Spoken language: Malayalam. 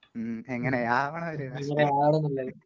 മ്...എങ്ങനെയാവണം ഒരു രാഷ്ട്രീയക്കാരൻ എന്നുള്ളത്...